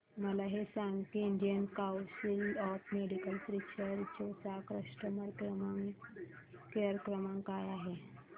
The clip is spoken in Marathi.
मला हे सांग की Indian council of medical research चा कस्टमर केअर क्रमांक काय आहे